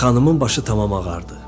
Xanımın başı tamam ağardı.